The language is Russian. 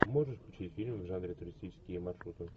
можешь включить фильм в жанре туристические маршруты